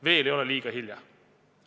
Veel ei ole liiga hilja.